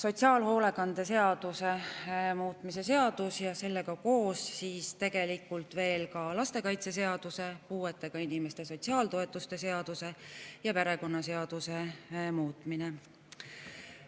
Sotsiaalhoolekande seaduse muutmise seadus ja sellega koos ka veel lastekaitseseaduse, puuetega inimeste sotsiaaltoetuste seaduse ja perekonnaseaduse muutmine.